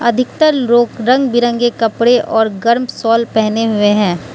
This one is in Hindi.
अधिकतर लोग रंग बिरंगे कपड़े और गर्म शॉल पहने हुए हैं।